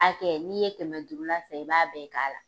hakɛ n'i ye kɛmɛ duuru la san i b'a bɛɛ k'a la.